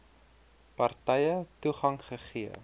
partye toegang gegee